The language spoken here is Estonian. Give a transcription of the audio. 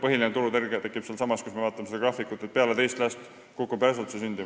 Kui me vaatame seda graafikut, siis põhiline turutõrge tekib seal: peale teist last kukub sündimus järsult.